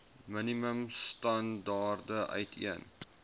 minimum standaarde uiteen